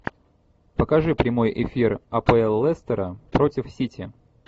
покажи прямой эфир апл лестера против сити